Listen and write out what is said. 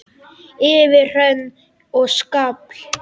Yfir hrönn og skafl!